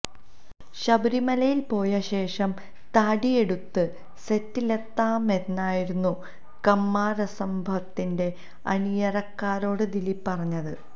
ശബരിമലയിൽ പോയ ശേഷം താടിയെടുത്ത് സെറ്റിലെത്താമെന്നായിരുന്നു കമ്മാരസംഭവത്തിന്റെ അണിയറക്കാരോട് ദിലീപ് പറഞ്ഞത്